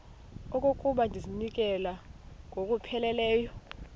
okokuba ndizinikele ngokupheleleyo